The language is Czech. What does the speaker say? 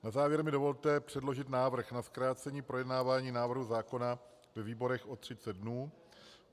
Na závěr mi dovolte předložit návrh na zkrácení projednávání návrhu zákona ve výborech o 30 dnů.